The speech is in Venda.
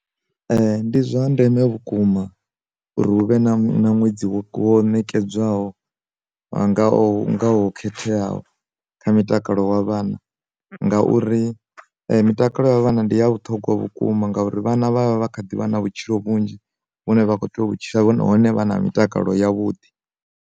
Ndi zwa ndeme vhukuma uri hu vhe na ṅwedzi wo kwo nekedzwaho vha ngaho ngaho khetheaho kha mutakalo wa vhanna, ngauri mitakalo ya vhana ndi ya vhuthogwa vhukuma ngauri vhana vha vha vha kha ḓivha na vhutshilo vhunzhi vhune vha kho tea u vhutshila hone hone vha na mitakalo ya vhuḓi.